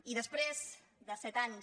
i després de set anys